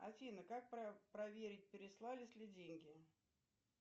афина как проверить переслались ли деньги